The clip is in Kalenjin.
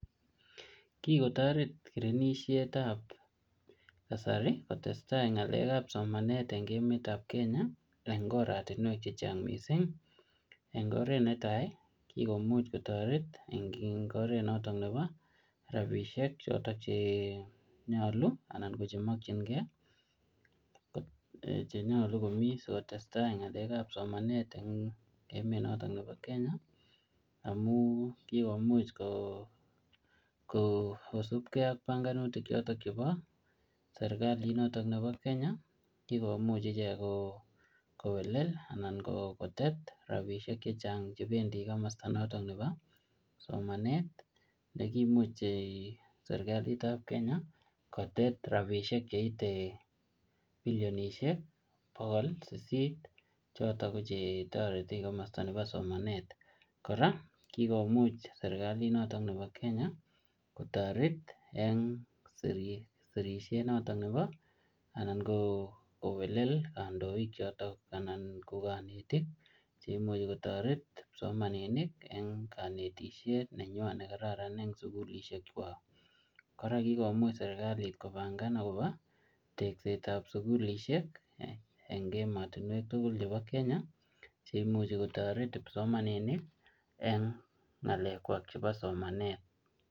Kikotoret kirinishetab kasari kotestai somanet en emetab Kenya en oratiwek chechang missing en oret netai komuch kotoret en oret noton nebo rabishek rabishek chiton chenyolu ala chekimokyikei chenyolu komi sikotestai ngalek ab somanet en emet noton nebo Kenya amun kikomuch kosibkei tuguk choton chebo serkalit noton nebo Kenya che kikomuch ichek koo kowellel ala kotet rabushek chechang chebendi komosto nebo somanet nekimuch serkalitab Kenya kotet rabushek cheitee billionoshek cheute bokol sisit chiton ko chetoreti komosto nebo somanet koraa kikomuch serkalitniton nebo Kenya kotoret sirishet niton nebo alan kowelel kandoik choton anan ko konetik che imuch kotiret kipsomaninik en konetishet nenywan en sukulishek chwak kora kikomuch sirkalit kobangan akobo teshetan sukulishek en ematuwek tukul chebo Kenya che imuche kotoret kipsomaninik en ngalek chwak chebo somanet.